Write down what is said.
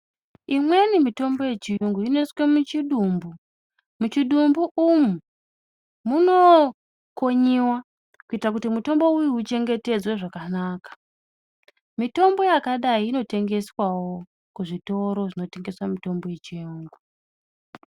Imweni mitombo yechiyungu inoiswe muchidumbu. Muchidumbu umwu munokonyiwa kuita kuti mutombo uyu uchengetedzwe zvakanaka, mitombo yakadai inotengeswawo kuzvitoro zvinotengesa mitombo yechiyungu.